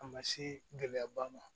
A ma se gɛlɛyaba ma